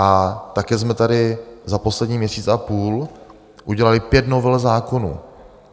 A také jsme tady za poslední měsíc a půl udělali pět novel zákonů.